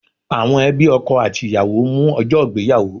Àwọn ẹbí ọkọ àti ìyàwó ń mú ọjọ́ ìgbéyàwó